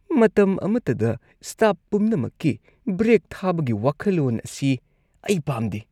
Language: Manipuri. ꯃꯇꯝ ꯑꯃꯠꯇꯗ ꯁ꯭ꯇꯥꯐ ꯄꯨꯝꯅꯃꯛꯀꯤ ꯕ꯭ꯔꯦꯛ ꯊꯥꯕꯒꯤ ꯋꯥꯈꯜꯂꯣꯟ ꯑꯁꯤ ꯑꯩ ꯄꯥꯝꯗꯦ ꯫